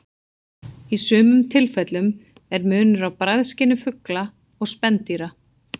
Í sumum tilfellum er munur á bragðskyni fugla og spendýra.